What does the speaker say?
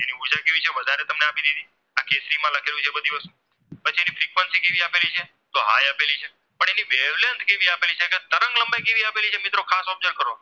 તરંગ લંબાઈ કેવી આપી છે મિત્ર ખાસ Object કરો